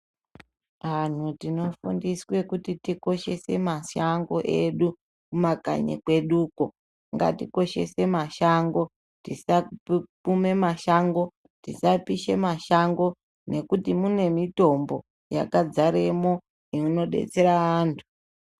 Antu tinofundiswa kuti tikoshese mashango edu kumakanyi kwedu uko. Ngatikoshese mashango tisakume mashango, tisapishe mashango ngekuti mune mitombo yakadzaremo inodetsere antu .